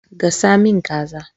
Gasa min kaza